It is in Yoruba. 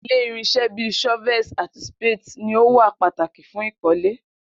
Ile irinṣẹ bi shovels ati spades ni o wa pataki fun ikole.